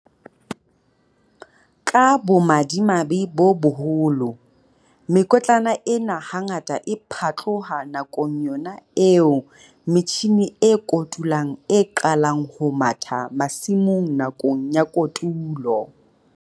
Ka bomadimabe bo boholo, mekotlana ena hangata e phatloha nakong yona eo metjhine e kotulang e qalang ho matha masimong nakong ya kotulo.